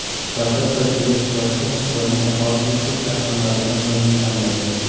Startap tajriba sifatida Xitoyning aholisi ko‘p shaharlaridan birini tanlagan.